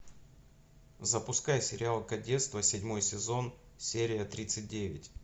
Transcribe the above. запускай сериал кадетство седьмой сезон серия тридцать девять